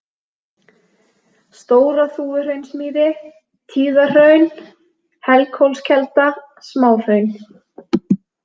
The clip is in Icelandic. Stóra-Þúfuhraunsmýri, Tíðahraun, Helghólskelda, Smáhraun